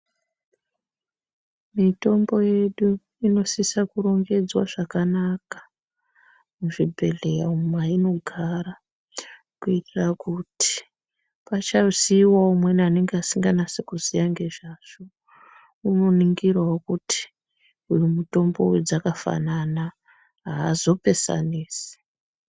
Mitombo yedu inosisa kurongedzwa zvakanaka muchibhedhlera umo mainogara, kuitira kuti pachasiyiwawo umweni asinganasi kuziya ngezvazvo, unoningirawo kuti uyu mitombo dzakafanana, aazopesanisi.